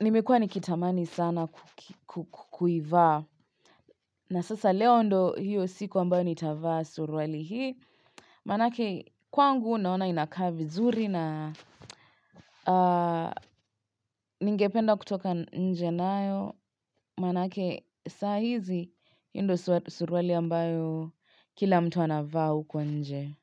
nimekuwa nikitamani sana kukivaa na sasa leo ndo hiyo siku ambayo nitavaa suruali hii. Manake kwangu naona inakaa vizuri na ningependa kutoka nje nayo. Manake saa hizi ndo suruali ambayo kila mtu anavaa huko nje.